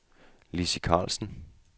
Lizzie Carlsen